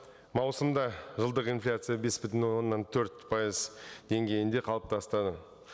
маусымда жылдық инфляция бес бүтін оннан төрт пайыз деңгейінде қалыптасты